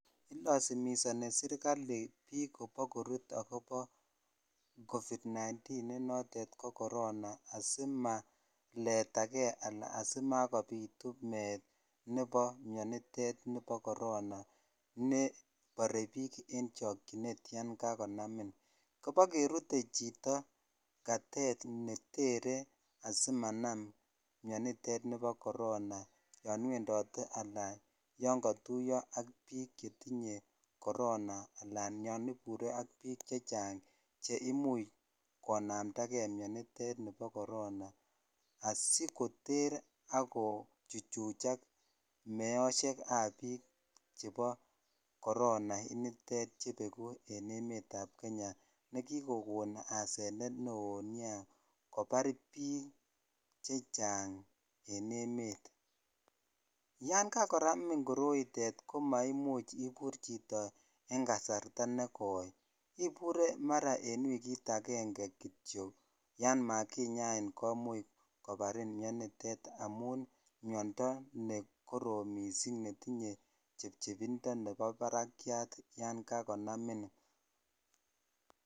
Ilasimisani serkali biik kobo korut agobo covid 19 nenotet ko korona asimaletage anan asimakopitu meet nebo mionitet nebo korona neborebiik en chokchinet yon kakonamin. Kobokerute chito katet ne tere asimanam mionitet nebo korona yon wendote anan yon katuiya ak biik che tinye korona anan yon ibure ak biik che chang che imuch konamnda mianitet nebo korona asikoter ak kochuchuchak meosiekab biik chebo korona initet chebeku en emetab Kenya ne kikokon asenet neo nea kobar biik che chang en emet. Yankakonamin koroitet ko maimuch ibur chito en kasarta nekoi. Ibure mara en wigit agenge kityo yan makinyain komuch kobarin mianitet amun miondo nekorom mising netinye chepchebindo nebo barakyat yankakonamin.